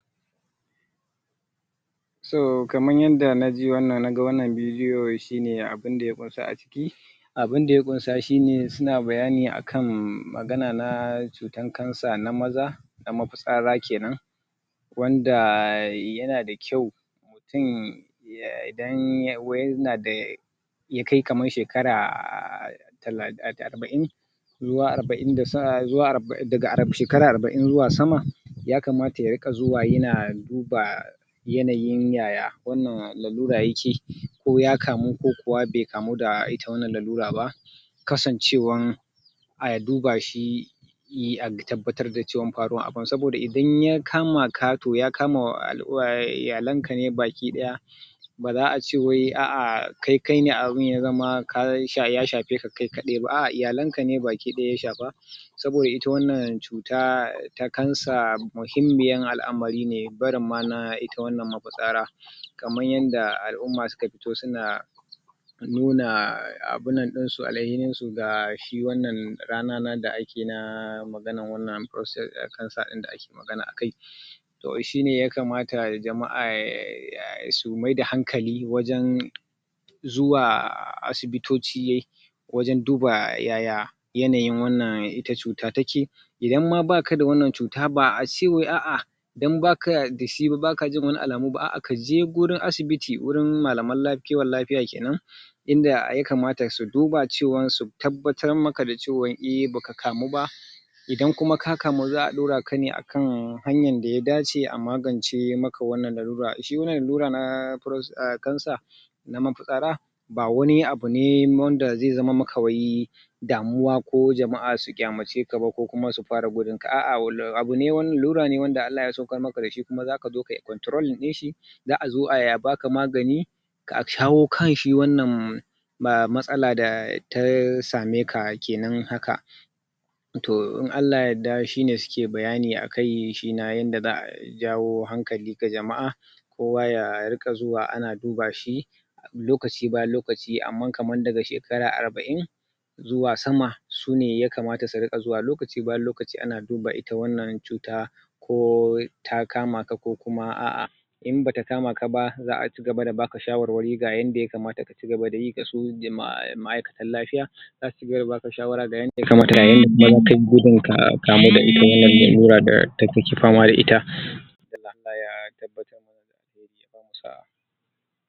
To wannan bayani, shine umm malami nena Malamin addini na Wanda ba musulmi bah Umm yan, uwanmu kirista To kaman yaddda muka gani haka a bidiyo shine yake nuna mana cewa, wanda yake fama da lalura na rashin gani ko rashin ji, ko kuma Ciwo na shahi jiki ko na barin jiki kenan Ko kuma lalura Toh idan shi wannan Malami ya Taba shi wannan Barin inda yake damun ka Walau kanka ne ko jikin kane ko kuma wani lalura da yake damun ka ya taba ka yai maka addu'a To ina, Bada dama ka tashi sai kuma ka tashi cikin lafiyan ka ka dawokaman yadda mutane suke Toh jama'a da dama suna zuwa wannan wuri Don su samu ai masu wannan addu'a Kuma a samu dacewa baki daya Mutane da yawa gasunan sunzo al'umma ne da dama Don su samu aimasu wannan addu'a kuma kaman yadda wani wanda aka lafiyar dashi Ya nuna cewa yana fama da ciwon lalura na shashi So kuma da yazo nan wuri ya samu lafiya Kuma an cewa ya, Mike ya tashi kuma ya tashi Heya cigaba da hidiman shi Yana ma Allah godiya Da kuma shi wannan malami da, Ya ya ya Ya mashi addu'a ya warke Don wasu daga ciki ma abunda suke kiranshi dashi shine suna cemashi manzo Suna ce mashi manzo saboda ya, abunda yakeyi Suna ganin kawai yai ma'ujjiza kawai ne haka Take zuwa daga gare shi yake basu lafiya haka To lallai wannan abune dake kara sama So wannan al'umman mabiya da suke yakeyi Suke ganin ya cancanci a yaba mashi Da kokari da yake da jajircewa na taimakon al'umma baki daya Kaman yadda wani shima ya kara cewa suna da imma kana da wani Damuwa ko wani abunan kakan iya kira ka tambaya Don a kara maka karin haske dangane da wannan Taimako dashi wannan malami na wannan Addini keyi Ga al'umman shi ga al'umma baki daya Allah ya bamu sa'a ka ya taimake mu Umm kafin yadda wasu jama'a suke fadi kan wannan Da abu da ake haka